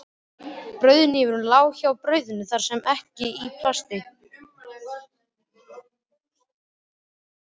Brauðhnífurinn lá hjá brauðinu sem var ekki í plastinu.